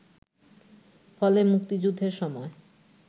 ফলে মুক্তিযুদ্ধের সময়